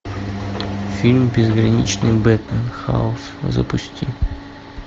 фильм безграничный бэтмен хаос запусти